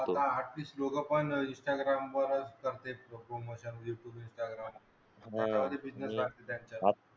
instagram वरच करते youtube instagram